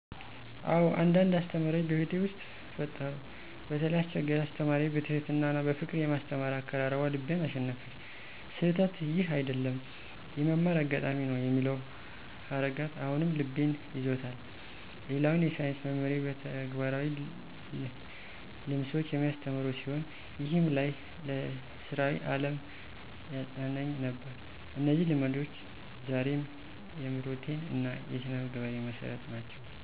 አዎ፣ አንዳንድ አስተማሪዎች በሕይወቴ ውስጥ ፈጠሩ። በተለይ አስችገርቻ አስተማሪዬ በትሕትና እና በፍቅር የማስተማር አቀራረቧ ልቤን አሸነፈች። "ስህተትህ ይህ አይደለም፣ የመማር አጋጣሚ ነው" የሚለው ሀረጋት አሁንም ልቤንም ይዞታል። ሌላውን የሳይንስ መምህሬ በተግባራዊ ልምሶች የሚያስተምር ሲሆን፣ ይህም ለይ ለሥራዊ ዓለም ያጸናኝ ነበር። እነዚህ ልምዶች ዛሬም የምሮቴን እና የስነምግባሬን መሠረት ናቸው።